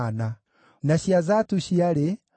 na cia Bigivai ciarĩ 2,056,